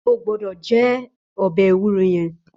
Ó gbòdò jè òbè éwúró yèn